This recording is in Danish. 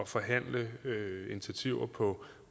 forhandle initiativer på